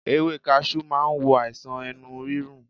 Ewé kaṣú ma wo àìsàn ẹnu rírun